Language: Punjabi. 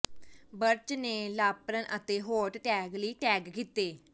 ਬਰਚ ਨੇ ਲਾਪਰਨ ਅਤੇ ਹੌਟ ਟੈਗ ਲਈ ਟੈਗ ਕੀਤੇ